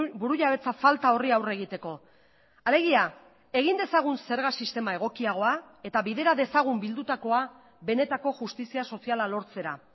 burujabetza falta horri aurre egiteko alegia egin dezagun zerga sistema egokiagoa eta bidera dezagun bildutakoa benetako justizia soziala lortzera